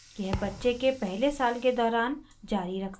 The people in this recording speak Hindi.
यह बच्चे के पहले साल के दौरान जारी रख सकते हैं